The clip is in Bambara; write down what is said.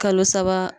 Kalo saba